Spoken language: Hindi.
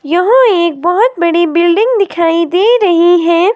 यहां एक बहोत बड़ी बिल्डिंग दिखाई दे रही है।